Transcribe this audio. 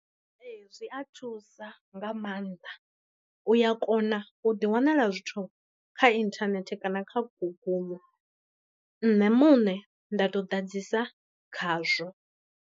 Ee zwi a thusa nga maanḓa, u ya kona u ḓi wanala zwithu kha inthanethe kana kha guguḽu nṋe muṋe nda to ḓadzisa khazwo.